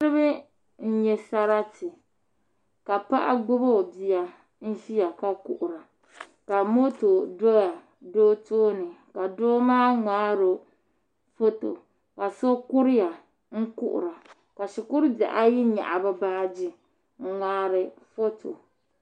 Niraba n nyɛ sarati ka paɣa gbubi o bia n ʒiya ka kuhura ka moto do doo tooni ka doo maa ŋmaaro foto ka so kuriya ka kuhura ka shikuru bihi ayi nyaɣa bi baaji n ŋmaari foto